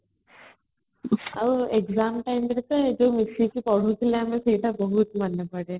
ଆଉ exam time ରେ ତ nije ମିଶିକି ପଢୁଥିଲେ ଆମେ ସେଇଟା ବହୁତ ମନେପଡେ